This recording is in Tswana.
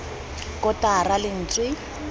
kotara k g r lentswe